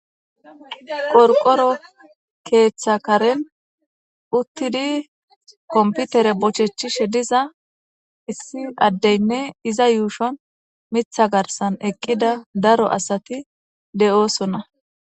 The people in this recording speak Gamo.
qorqoro keeththa karen uttidi komputere bochechishe diza issi addeynne iza yuushon mitha garsan eqqida daro asati de7oosona